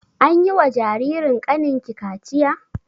Anyi wa jaririn kanin ki kachiya?